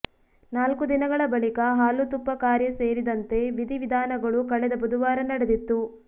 ನಾಲ್ಕು ದಿನಗಳ ಬಳಿಕ ಹಾಲು ತುಪ್ಪ ಕಾರ್ಯ ಸೇರಿದಂತೆ ವಿಧಿ ವಿಧಾನಗಳು ಕಳೆದ ಬುಧವಾರ ನಡೆದಿತ್ತು